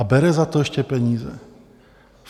A bere za to ještě peníze.